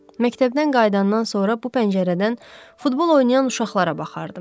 Məktəbdən qayıdandan sonra bu pəncərədən futbol oynayan uşaqlara baxardım.